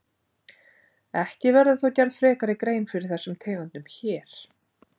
Ekki verður þó gerð frekari grein fyrir þessum tegundum hér.